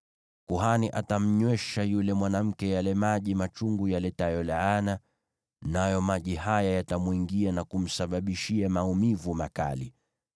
Kuhani atamnywesha yule mwanamke yale maji machungu yaletayo laana, nayo maji haya yatamwingia na kumsababishia maumivu makali.